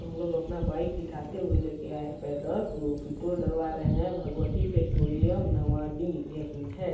हम लोग अपना बाइक इठाते हुए लेके आये हैं पैदल तो पेट्रोल डलवा रहे हैं भगवती पेट्रोलियम नवाड़ी यही हैं।